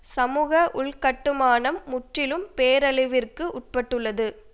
சமூக உள்கட்டுமானம் முற்றிலும் பேரழிவிற்கு உட்பட்டுள்ளது